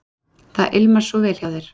Það ilmar svo vel hjá þér.